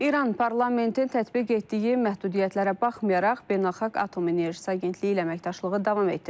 İran parlamentin tətbiq etdiyi məhdudiyyətlərə baxmayaraq beynəlxalq Atom Enerjisi Agentliyi ilə əməkdaşlığı davam etdirəcək.